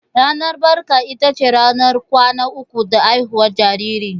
Ranar barka ita ce ranar kwana uku da haihuwar jariri.